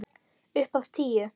Upp á tíu.